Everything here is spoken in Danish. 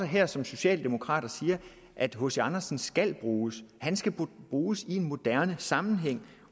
her som socialdemokrat og siger at hc andersen skal bruges han skal bruges i en moderne sammenhæng